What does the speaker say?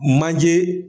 Manje